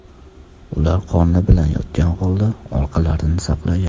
Ular qorni bilan yotgan holda orqalarini saqlagan.